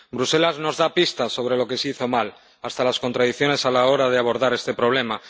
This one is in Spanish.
Bruselas nos da pistas sobre lo que se hizo mal, hasta las contradicciones a la hora de abordar este problema.